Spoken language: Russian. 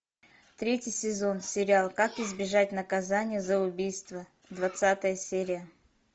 третий сезон сериал как избежать наказания за убийство двадцатая серия